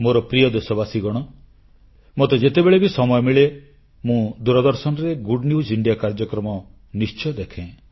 ମୋର ପ୍ରିୟ ଦେଶବାସୀଗଣ ମୋତେ ଯେତେବେଳେ ବି ସମୟ ମିଳେ ମୁଁ ଦୂରଦର୍ଶନରେ ଗୁଡ୍ ନ୍ୟୁଜ୍ ଇଣ୍ଡିଆ କାର୍ଯ୍ୟକ୍ରମ ନିଶ୍ଚୟ ଦେଖେ